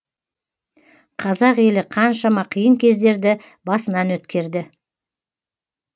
қазақ елі қаншама қиын кездерді басынан өткерді